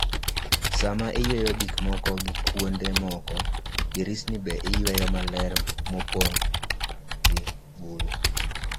Sa ma iyweyo gik moko gi kuonde moko, dirisni be iyweyo maler mopong' gi buru